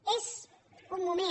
és un moment